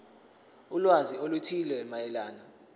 ulwazi oluthile mayelana